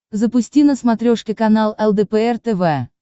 запусти на смотрешке канал лдпр тв